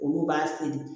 Olu b'a seri